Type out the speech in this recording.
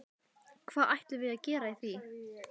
Hvað ætlum við að gera í því?